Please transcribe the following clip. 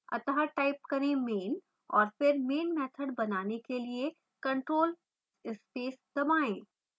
अत: type करें main और फिर main मैथड बनाने के लिए ctrl + space दबाएँ